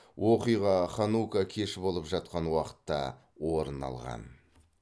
оқиға ханука кеші болып жатқан уақытта орын алған